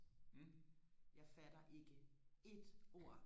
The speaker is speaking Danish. jeg fatter ikke et ord